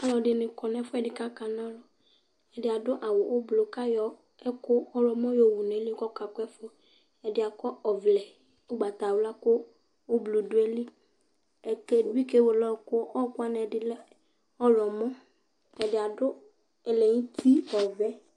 Alʋɛdɩnɩ kɔ nʋ ɛfʋɛdɩ kʋ akana ɔlʋ Ɛdɩ adʋ awʋ ʋblʋ kʋ ayɔ ɛkʋ ɔɣlɔmɔ yɔwu nʋ ɛlʋ kʋ ɔkakʋ ɛfʋ, ɛdɩ akɔ ɔvlɛ ʋgbatawla kʋ ʋblʋ dʋ ayili kʋ ɛdɩ bɩ kewele ɔɣɔkʋ Ɔɣɔkʋ wanɩ ɛdɩ lɛ ɔɣlɔmɔ, ɛdɩ adʋ ɛlɛnʋti ɔvɛ